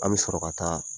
An bɛ sɔrɔ ka taa